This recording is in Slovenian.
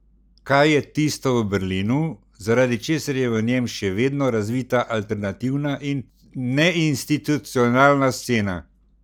Kaj je tisto v Berlinu, zaradi česar je v njem še vedno razvita alternativna in neinstitucionalna scena?